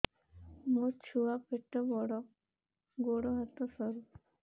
ମୋ ଛୁଆ ପେଟ ବଡ଼ ଗୋଡ଼ ହାତ ସରୁ